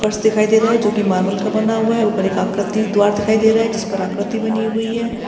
फर्श दिखाई दे रहा है जो कि मार्बल का बना हुआ है ऊपर एक आकृति द्वार दिखाए दे रहा है जिस पे आकृति बनी हुई है।